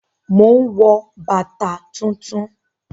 Mò ń wọ bàtà tuntun